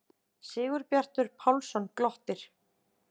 Sigurbjartur Pálsson glottir.